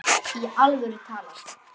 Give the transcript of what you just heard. Í alvöru talað.